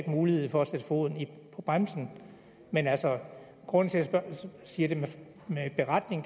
mulighed for at sætte foden på bremsen men altså grunden til at jeg siger det med en beretning